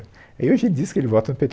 Aí hoje ele diz que ele vota no pê, tê